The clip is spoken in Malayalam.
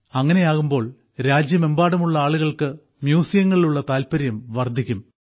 അങ്ങനെയാകുമ്പോൾ രാജ്യമെമ്പാടുമുള്ള ആളുകൾക്ക് മ്യൂസിയങ്ങളിലുള്ള താല്പര്യം വർദ്ധിക്കും